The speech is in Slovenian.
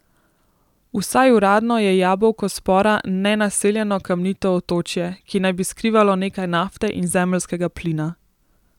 Vsaj uradno je jabolko spora nenaseljeno kamnito otočje, ki naj bi skrivalo nekaj nafte in zemeljskega plina.